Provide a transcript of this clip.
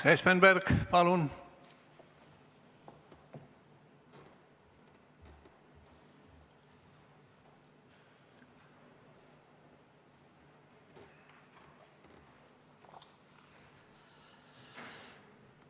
Urmas Espenberg, palun!